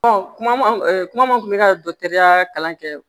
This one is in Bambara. kuma kuma mun kun bɛ ka kalan kɛ